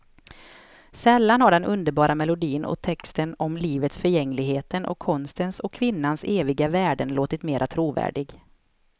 Sällan har den underbara melodin och texten om livets förgängligheten och konstens och kvinnans eviga värden låtit mera trovärdig.